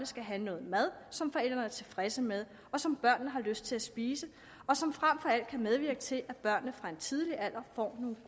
skal have noget mad som forældrene er tilfredse med og som børnene har lyst til at spise og som frem for alt kan medvirke til at børnene fra en tidlig alder får